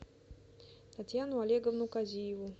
татьяну олеговну казиеву